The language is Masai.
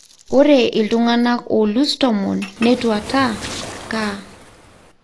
Ore iltunganak olus tomon netwata CAR.